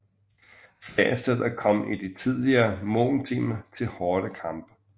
Flere steder kom det i de tidligere morgentimer til hårde kampe